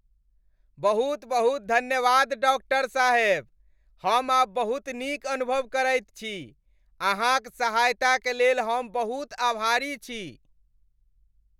बहुत बहुत धन्यवाद, डॉक्टर साहेब! हम आब बहुत नीक अनुभव करैत छी। अहाँक सहायताक लेल हम बहुत आभारी छी।